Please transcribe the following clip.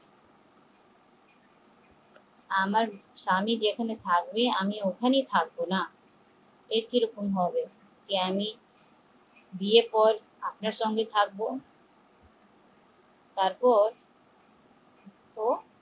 আমার স্বামী যেখানে থাকবে আমিও ওখানেই থাকবো একইরকম হবে যে আমি বিয়ের পর সঙ্গে থাকবো তারপর ও